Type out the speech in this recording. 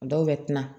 Dɔw bɛ tila